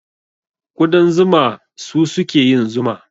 Ƙudan zuma su suke yin zuma.